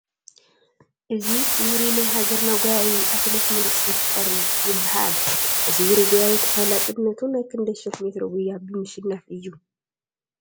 እዚ ውሩይ ናይ ሃገርና ጐያዪ ኣትሌት ምሩፅ ይፍጠር ይበሃል፡፡ እዚ ውሩይ ጐያዪ ተፈላጥነቱ ናይ ክንደይ ሽሕ ሜትሮ ጉያ ብምሽናፍ እዩ፡፡